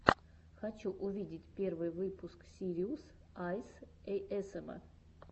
хочу увидеть первый выпуск сириус айс эйэсэма